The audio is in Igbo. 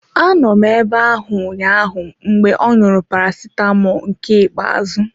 Anọ m abe ahụ ụnyaahụ mgbe ọ ṅụrụ Paracetamọl nke ikpe azụ.